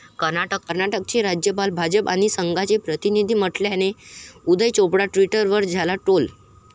कर्नाटकचे राज्यपाल 'भाजप आणि संघा'चे प्रतिनिधी म्हटल्याने उदय चोपडा ट्विटरवर झाला ट्रोल